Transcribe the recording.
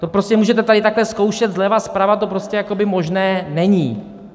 To prostě můžete tady takhle zkoušet zleva, zprava, to prostě možné není.